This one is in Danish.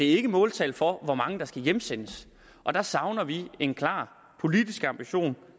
ikke måltal for hvor mange der skal hjemsendes og der savner vi en klar politisk ambition